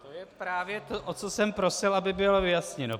To je právě to, o co jsem prosil, aby bylo vyjasněno.